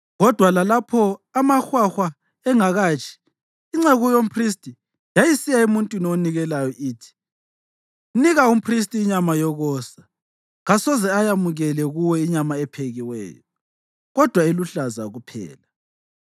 Kodwa lalapho amahwahwa engakatshi, inceku yomphristi yayisiya emuntwini onikelayo ithi, “Nika umphristi inyama yokosa; kasoze ayamukele kuwe inyama ephekiweyo, kodwa eluhlaza kuphela.”